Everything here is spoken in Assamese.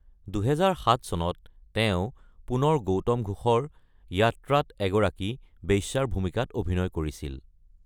২০০৭ চনত, তেওঁ পুনৰ গৌতম ঘোষৰ 'য়াত্ৰা'ত এগৰাকী বেশ্যাৰ ভূমিকাত অভিনয় কৰিছিল।